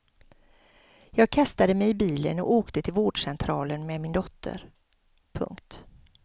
Jag kastade mig i bilen och åkte till vårdcentralen med min dotter. punkt